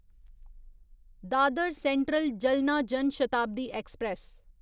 Dadar central Jalna Jan Shatabdi express